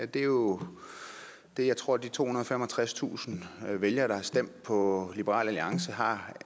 det er jo det jeg tror at de tohundrede og femogtredstusind vælgere der har stemt på liberal alliance har